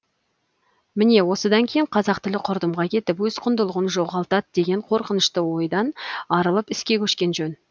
міне осыдан кейін қазақ тілі құрдымға кетіп өз құндылығын жоғалтат деген қорқынышты ойдан арылып іске көшкен жөн